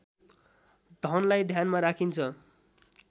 धनलाई ध्यानमा राखिन्छ